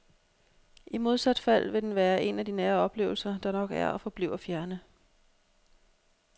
I modsat fald vil den være en af nære oplevelser, der nok er og forbliver fjerne.